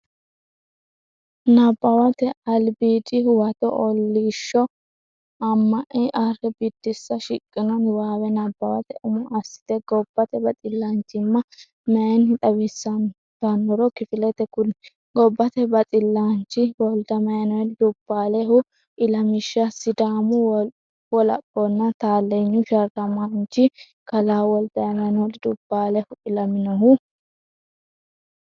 Nabbawate Albiidi Huwato OOlIIShShO AMAlA ArrA Biddissa Shiqqino niwaawe nabbawate umo assite gobbate baxillaanchimma mayinni xawisantannoro kifilete kuli Gobbate Baxillaanchi Woldamaaneeli Dubbaalihu Ilamishsha Sidaamu Wolaphonna Taalleenyu sharramaanchi kalaa Woldamaaneeli Dubbaalihu ilaminohu.